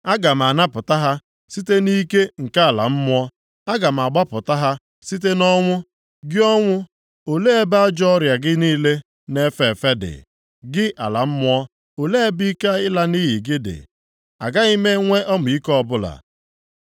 “Aga m anapụta ha site nʼike nke Ala mmụọ. Aga m agbapụta ha site nʼọnwụ. Gị ọnwụ, olee ebe ajọọ ọrịa gị niile na-efe efe dị? Gị ala mmụọ, olee ebe ike ịla nʼiyi gị dị? “Agaghị m enwe ọmịiko ọbụla,